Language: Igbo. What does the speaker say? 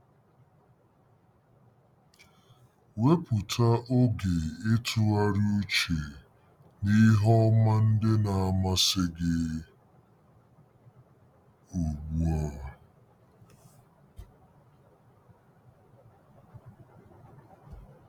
Wepụta oge ịtụgharị uche n'ihe ọma ndị na-amasị gị ugbu a.